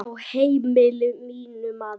Á heimili mínu, maður.